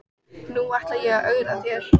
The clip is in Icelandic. Nú ætla ég að ögra þér.